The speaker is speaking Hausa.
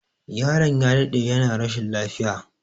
Yaron ya daɗe yana rashin lafiya